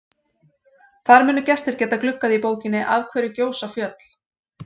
Þar munu gestir geta gluggað í bókina Af hverju gjósa fjöll?